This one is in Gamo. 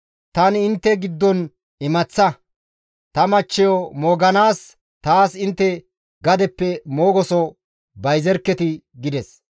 «Tani intte giddon imaththa; ta machcheyo mooganaas taas intte gadeppe moogoso bayzerketii!» gides.